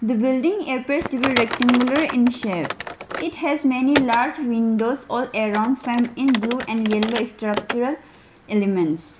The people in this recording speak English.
building appears to be rectangular in shape It has many large windows all around frem in blue and yellow structural elements.